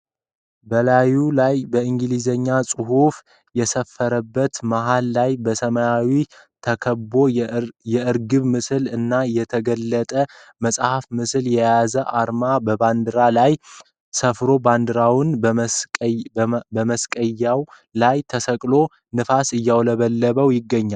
በላዩ ላይ በኢንግሊዘኛ ጽሁፍ የሰፈረበት መሃሉ ላይ በሰማያዊ ተከቦ የእርግብ ምስል እና የተገለጠ መጽሃፍ ምስልን የያዘ አርማ በባንዲራው ላይ ሰፍሮ ባንዲራውም መስቀያው ላይ ተሰቅሎ ንፋስ እያውለበለበው ይገኛል።